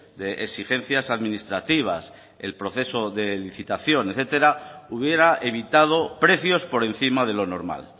de exigencias administrativas el proceso de licitación etcétera hubiera evitado precios por encima de lo normal